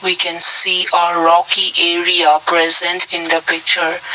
we can see uh rocky area present in the picture.